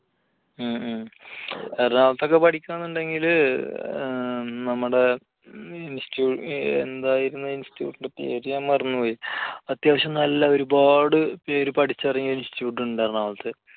ഉം ഉം. എറണാകുളത്ത് പഠിക്കണമെന്നുണ്ടെങ്കിൽ നമ്മുടെ ഈ ഇൻസ്റ്റി~എന്തായിരുന്നു ആ institute ന്റെ പേര് ഞാൻ മറന്നുപോയി. അത്യാവശ്യം നല്ല ഒരുപാട് പേര് പഠിച്ചിറങ്ങിയ ഒരു institute ഉണ്ട് എറണാകുളത്ത്.